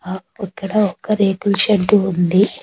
ఆ ఇక్కడ ఒక రేకుల్ షెడ్డు ఉంది.